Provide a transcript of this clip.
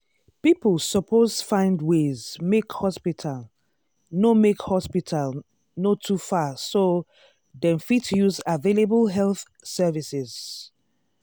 people suppose find ways make hospital no make hospital no too far so dem fit use available health services.